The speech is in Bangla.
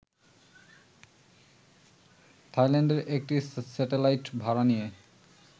থাইল্যান্ডের একটি স্যাটেলাইট ভাড়া নিয়ে